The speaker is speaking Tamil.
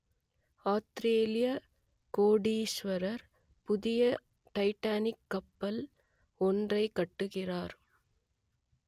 ஆத்திரேலியக் கோடீசுவரர் புதிய டைட்டானிக் கப்பல் ஒன்றைக் கட்டுகிறார்